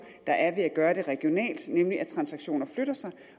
der er ved at gøre det regionalt nemlig at transaktioner flytter sig